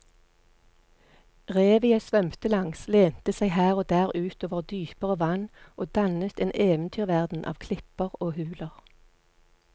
Revet jeg svømte langs lente seg her og der ut over dypere vann og dannet en eventyrverden av klipper og huler.